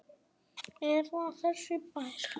Er það þessi bær?